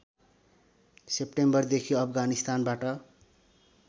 सेप्टेम्बरदेखि अफगानिस्तानबाट